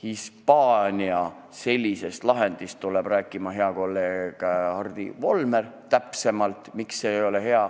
Hispaania lahendist täpsemalt, miks see ei ole hea, tuleb rääkima hea kolleeg Hardi Volmer.